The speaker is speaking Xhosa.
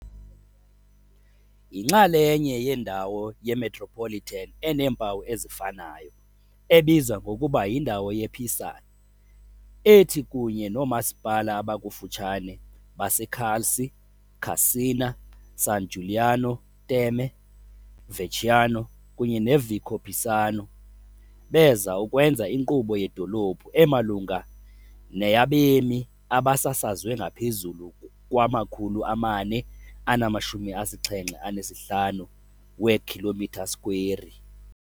Yinxalenye yendawo yemetropolitan eneempawu ezifanayo, ebizwa ngokuba "yindawo yePisan", ethi kunye noomasipala abakufutshane baseCalci, Cascina, San Giuliano Terme, Vecchiano kunye neVicopisano, beza ukwenza inkqubo yedolophu emalunga neyabemi abasasazwe ngaphezulu kwama-475. km2.